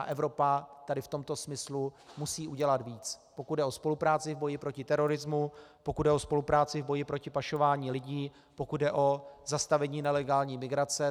A Evropa tady v tomto smyslu musí udělat víc, pokud jde o spolupráci v boji proti terorismu, pokud jde o spolupráci v boji proti pašování lidí, pokud jde o zastavení nelegální migrace.